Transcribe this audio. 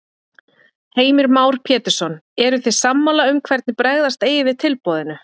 Heimir Már Pétursson: Eruð þið sammála um hvernig bregðast eigi við tilboðinu?